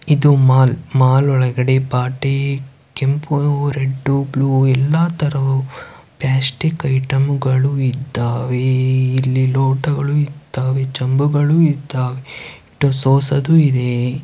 ಇದು mall mall ಒಳಗಡೆ ಬಾಟೀ ಕೆಂಪೂ ರೆಡ್ ಬ್ಲೂ ಎಲ್ಲಾ ತರವೂ ಪ್ಲ್ಯಾಸ್ಟಿಕ್ ಐಟಂಗಳು ಇದ್ದಾವೇ ಇಲ್ಲಿ ಲೋಟಗಳು ಇದ್ದಾವೆ ಚೆಮ್ಬುಗಳು ಇದ್ದಾವೆ ಹಿಟ್ಟು ಸೋಸೊದು ಇದೇ.